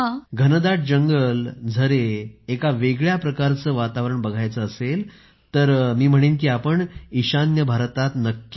घनदाट जंगल झरे एक वेगळ्याच प्रकारचे वातावरण बघायचं असेल तर मी म्हणेन की आपण ईशान्य भारतात नक्की जा